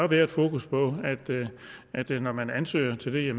være et fokus på at det når man ansøger til det